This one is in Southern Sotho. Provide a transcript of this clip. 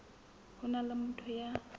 ho se na motho ya